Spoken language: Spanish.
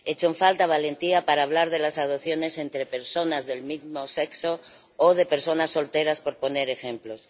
Echo en falta valentía para hablar de las adopciones por parejas del mismo sexo o por personas solteras, por poner ejemplos.